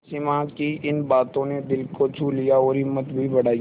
सिमा की इन बातों ने दिल को छू लिया और हिम्मत भी बढ़ाई